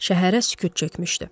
Şəhərə sükut çökmüşdü.